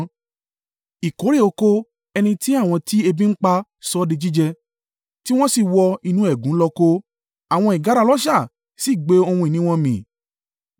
Ìkórè oko ẹni tí àwọn tí ebi ń pa sọ̀ di jíjẹ, tí wọ́n sì wọ inú ẹ̀gún lọ kó, àwọn ìgárá ọlọ́ṣà sì gbé ohun ìní wọn mì.